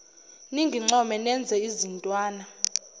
ningincome nenze izintwana